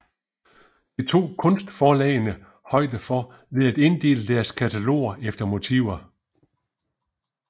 Det tog kunstforlagene højde for ved at inddele deres kataloger efter motiver